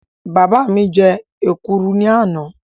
Bàbá mi jẹ èkuru ní àná